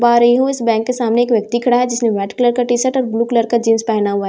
पा रही हूं इस बैंक के सामने एक व्यक्ति खड़ा है जिसने व्हाइट कलर का टी शर्ट और ब्लू कलर का जींस पहना हुआ है।